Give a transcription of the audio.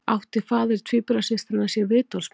Átti faðir tvíburasystranna sér vitorðsmann